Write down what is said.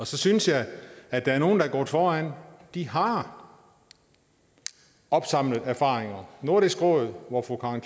så synes jeg at der er nogle der er gået foran de har opsamlet erfaringer i nordisk råd hvor fru karen